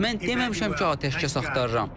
Mən deməmişəm ki, atəşkəs axtarıram.